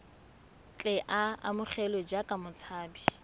tle a amogelwe jaaka motshabi